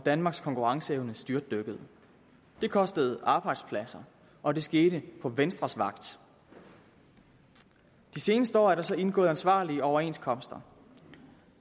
danmarks konkurrenceevne styrtdykkede det kostede arbejdspladser og det skete på venstres vagt de seneste år er der så indgået ansvarlige overenskomster